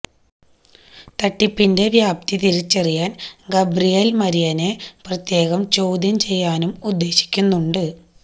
തട്ടിപ്പിന്െറ വ്യാപ്തി തിരിച്ചറിയാന് ഗബ്രിയേല് മരിയനെ പ്രത്യേകം ചോദ്യംചെയ്യാനും ഉദ്ദേശിക്കുന്നുണ്ട്